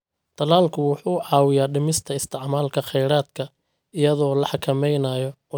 Tallaalku wuxuu caawiyaa dhimista isticmaalka kheyraadka iyadoo la xakameynayo cudurrada iyada oo loo marayo ka hortagga.